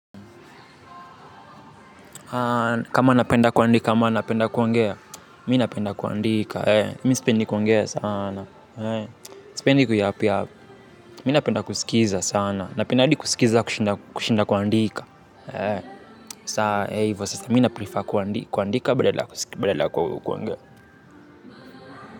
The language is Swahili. Kama napenda kuandika, ama napenda kuongea, mi napenda kuandika. Mi nisipendi kuongea sana. Sipendi kuyap yap, mi napenda kusikiza sana. Napenda hadi kusikiza kushinda kuandika. Sasa, mi na prefer kuandika badala ya kuongea.